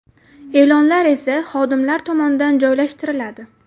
E’lonlar esa xodimlar tomonidan joylashtiriladi.